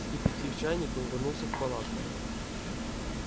вскипятив чайник он вернулся в палатку